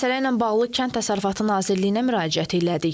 Məsələ ilə bağlı Kənd Təsərrüfatı Nazirliyinə müraciət elədik.